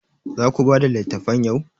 Za ku bada littafan yau?